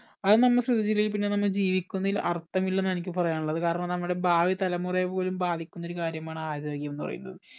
അത് നമ്മ ശ്രദ്ധിച്ചില്ലെങ്കിൽ പിന്നെ നമ്മ ജീവിക്കുന്നതിൽ അർത്ഥമില്ലെ എനിക്ക് പറയാനുള്ളത് കാരണം നമ്മുടെ ഭാവി തലമുറയെപോലും ബാധിക്കുന്ന ഒരു കാര്യമാണ് ആരോഗ്യംന്ന് പറയുന്നത്